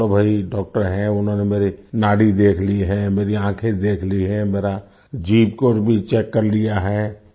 चलो भई डॉक्टर है उन्होंने मेरी नाड़ी देख ली है मेरी आँखें देख ली है मेरा जीभ को भी चेक कर लिया है